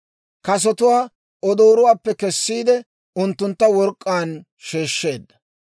Kasotuwaa odooruwaappe kessiide, unttuntta work'k'aan sheeshsheedda.